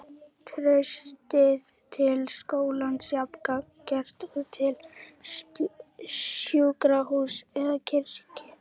Traustið til skólans jafn gagngert og til sjúkrahúss eða kirkju.